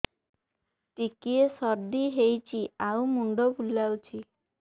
ଟିକିଏ ସର୍ଦ୍ଦି ହେଇଚି ଆଉ ମୁଣ୍ଡ ବୁଲାଉଛି